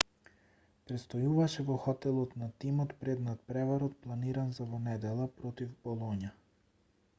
престојуваше во хотелот на тимот пред натпреварот планиран за во недела против болоња